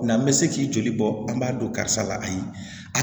N'an bɛ se k'i joli bɔ an b'a don karisa la ayi